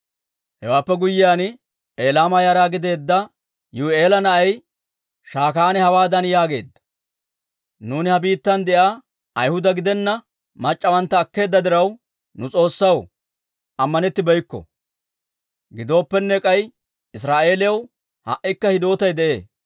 Hewaappe guyyiyaan, Elaama yara gideedda Yihi'eela na'ay Shakaane hawaadan yaageedda; «Nuuni ha biittan de'iyaa Ayhuda gidenna mac'c'awantta akkeedda diraw, nu S'oossaw ammanettibeykko. Gidooppenne, k'ay Israa'eeliyaw ha"ikka hidootay de'ee.